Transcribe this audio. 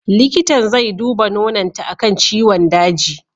Likitan zai duba nononta akan ciwon daji.